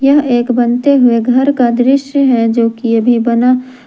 यह एक बनते हुए घर का दृश्य है जो कि अभी बना --